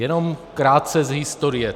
Jenom krátce z historie.